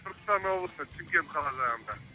түркістан облысы шымкент қала жағында